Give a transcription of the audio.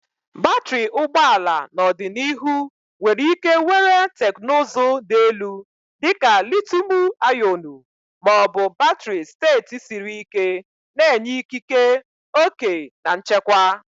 Batrị ụgbọ ala n'ọdịnihu nwere ike were teknụzụ dị elu dị ka litiiumu-ionu ma ọ bụ batrị steeti siri ike, na-enye ikike, oke na nchekwa.